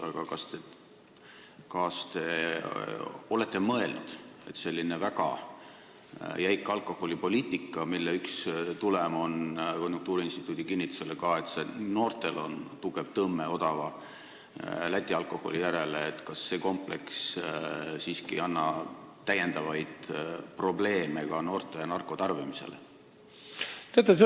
Aga kas te olete mõelnud, et selline väga jäik alkoholipoliitika, mille üks tulem on ka konjunktuuriinstituudi kinnitusel see, et noortel on tugev tõmme odava Läti alkoholi poole, kompleksina siiski ei tekita täiendavaid probleeme ka noorte narkotarbimises?